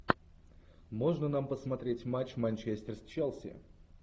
можно нам посмотреть матч манчестер с челси